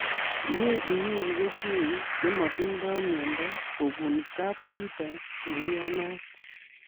Mie inyoru kesweek che matindo miendo kobun kaptuta neiyanat